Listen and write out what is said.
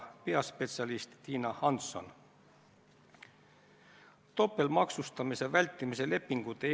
Kui te ei helistanud mõlemale liikmele, siis järelikult ei saa te rääkida sellest, et on olnud mingisugune juhatuse telefoni teel toimunud istung.